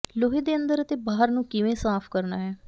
ਲੋਹੇ ਦੇ ਅੰਦਰ ਅਤੇ ਬਾਹਰ ਨੂੰ ਕਿਵੇਂ ਸਾਫ ਕਰਨਾ ਹੈ